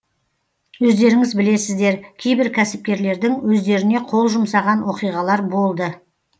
өздеріңіз білесіздер кейбір кәсіпкерлердің өздеріне қол жұмсаған оқиғалар болды